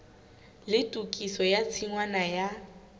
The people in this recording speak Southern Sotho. le tokiso ya tshingwana ya